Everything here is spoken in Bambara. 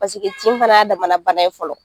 Paseke tin fɛnɛ ya damana bana ye fɔlɔ.